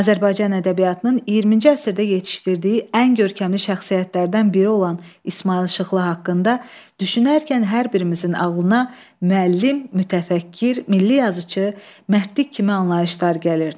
Azərbaycan ədəbiyyatının 20-ci əsrdə yetişdirdiyi ən görkəmli şəxsiyyətlərdən biri olan İsmayıl Şıxlı haqqında düşünərkən hər birimizin ağlına müəllim, mütəfəkkir, milli yazıçımız, mərdlik kimi anlayışlar gəlir.